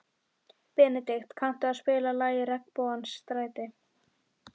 Benedikt, kanntu að spila lagið „Regnbogans stræti“?